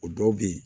O dɔw bɛ yen